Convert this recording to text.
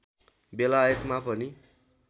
बेलायतमा पनि